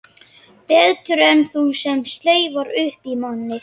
Betur en þú sem slefar upp í mann.